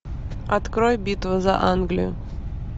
открой битва за англию